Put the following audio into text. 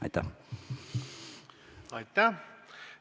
Aitäh!